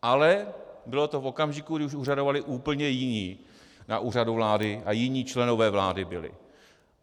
Ale bylo to v okamžiku, kdy už úřadovali úplně jiní na Úřadu vlády a jiní členové vlády byli.